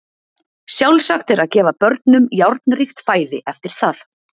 Sjálfsagt er að gefa börnum járnríkt fæði eftir það.